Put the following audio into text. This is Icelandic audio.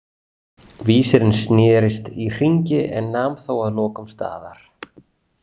Vísirinn snerist í hringi en nam þó að lokum staðar.